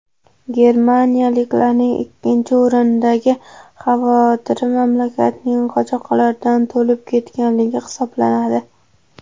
Germaniyaliklarning ikkinchi o‘rindagi xavotiri mamlakatning qochoqlardan to‘lib ketganligi hisoblanadi.